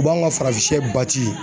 U b'anw ka farafin sɛ